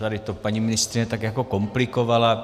Tady to paní ministryně tak jako komplikovala.